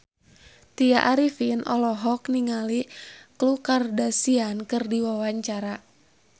Tya Arifin olohok ningali Khloe Kardashian keur diwawancara